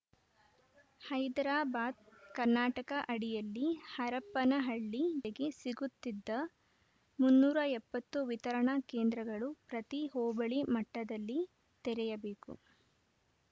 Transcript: ಹೈದ್ರಾಬಾದ್‌ ಕರ್ನಾಟಕ ಅಡಿಯಲ್ಲಿ ಹರಪನಹಳ್ಳಿ ಜನತೆಗೆ ಸಿಗುತಿದ್ದ ಮುನ್ನೂರ ಎಪ್ಪತ್ತು ವಿತರಣಾ ಕೇಂದ್ರಗಳು ಪ್ರತಿ ಹೋಬಳಿ ಮಟ್ಟದಲ್ಲಿ ತೆರೆಯಬೇಕು